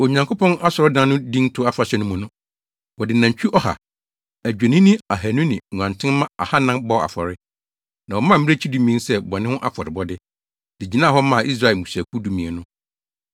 Onyankopɔn asɔredan no dinto afahyɛ no mu no, wɔde nantwimma ɔha, adwennini ahannu ne nguantenmma ahannan bɔɔ afɔre. Na wɔmaa mmirekyi dumien sɛ bɔne ho afɔrebɔde, de gyinaa hɔ maa Israel mmusuakuw dumien no.